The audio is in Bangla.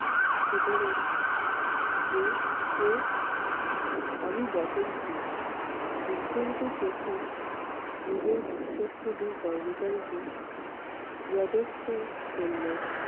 শুধোলেন কে কে? আমি বচনসুর বিস্ফোরিত চোখে নিজের বিস্বস্ত দুই কর্মচারীকে করলেন।